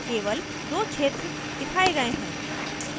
केवल दो क्षेत्र दिखाए गए हैं